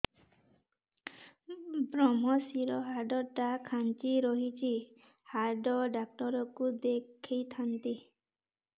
ଵ୍ରମଶିର ହାଡ଼ ଟା ଖାନ୍ଚି ରଖିଛି ହାଡ଼ ଡାକ୍ତର କୁ ଦେଖିଥାନ୍ତି